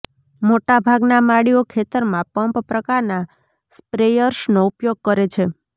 મોટાભાગના માળીઓ ખેતરમાં પંપ પ્રકારના સ્પ્રેયર્સનો ઉપયોગ કરે છે